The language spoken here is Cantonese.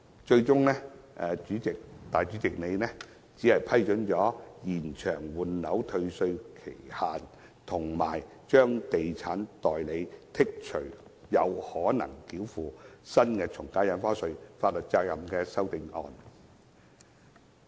主席最終只批准延長換樓退稅期限，以及豁免地產代理繳付新的從價印花稅的法律責任的修正案。